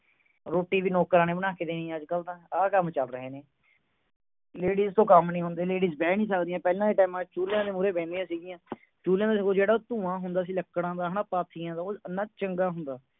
ਰੋਟੀ ਵੀ ਨੌਕਰਾਂ ਨੇ ਬਣਾ ਕੇ ਦੇਣੀ ਅੱਜ ਕੱਲ ਤਾਂ ਆਹ ਕੰਮ ਚੱਲ ਰਹੇ ਨੇ ladies ਕੋਲੋਂ ਕੰਮ ਨਹੀਂ ਹੁੰਦੇ ladies ਬਹਿ ਨਹੀਂ ਸਕਦੀਆਂ ਪਹਿਲੇ ਦੇ times ਚ ਚੁੱਲਿਆਂ ਦੇ ਮੂਹਰੇ ਬਹਿੰਦੀਆਂ ਸੀ ਗਿਆ ਚੁੱਲਿਆਂ ਦਾ ਜਿਹੜਾ ਧੂੰਆਂ ਹੁੰਦਾ ਸੀਗਾ ਲੱਕੜਾਂ ਦਾ ਹੈ ਨਾ ਪਾਥੀਆਂ ਉਹ ਇੰਨਾ ਚੰਗਾ ਹੁੰਦਾ ਸੀ